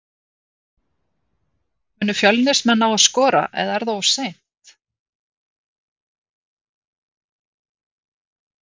Munu Fjölnismenn ná að skora eða er það of seint?